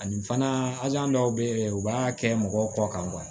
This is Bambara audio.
Ani fana ali an dɔw bɛ yen u b'a kɛ mɔgɔw kɔ kan